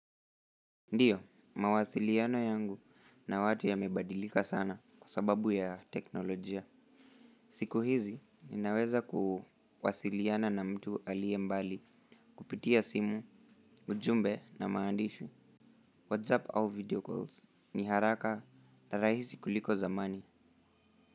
Ndio mawasiliano yangu na watu yamebadilika sana kwa sababu ya teknolojia. Siku hizi, ninaweza kuwasiliana na mtu aliye mbali kupitia simu, ujumbe na maandishi whatsapp au video calls. Ni haraka na rahisi kuliko zamani.